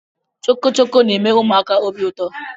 Chọkọchọkọ na-eme ụmụaka obi ụtọ